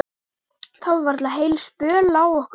Það var varla heil spjör á okkur.